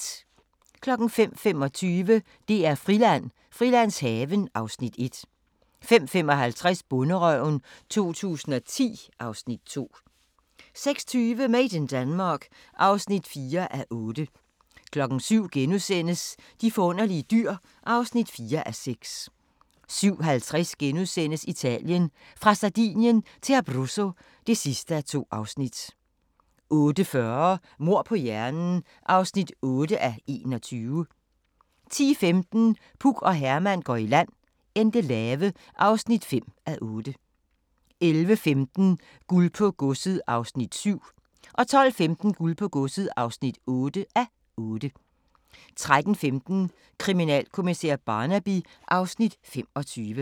05:25: DR-Friland: Frilandshaven (Afs. 1) 05:55: Bonderøven 2010 (Afs. 2) 06:20: Made in Denmark (4:8) 07:00: De forunderlige dyr (4:6)* 07:50: Italien: Fra Sardinien til Abruzzo (2:2)* 08:40: Mord på hjernen (8:21) 10:15: Puk og Herman går i land - Endelave (5:8) 11:15: Guld på godset (7:8) 12:15: Guld på godset (8:8) 13:15: Kriminalkommissær Barnaby (Afs. 25)